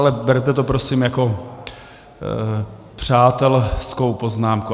Ale berte to prosím jako přátelskou poznámku.